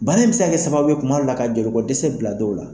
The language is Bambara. Baara in bɛ se ka kɛ sababu ye kuma dow la ka joli bɔ dɛsɛ bila dɔw la.